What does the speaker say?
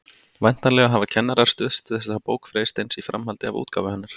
Væntanlega hafa kennarar stuðst við þessa bók Freysteins í framhaldi af útgáfu hennar.